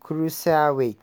cruiserweight.